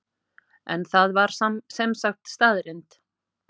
En það var sem sagt staðreynd?